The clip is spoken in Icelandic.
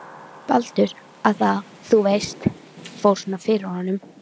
Baldur. að það, þú veist, fór svona fyrir honum.